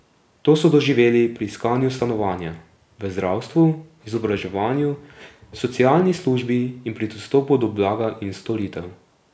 To so doživeli pri iskanju stanovanja, v zdravstvu, izobraževanju, socialni službi in pri dostopu do blaga in storitev.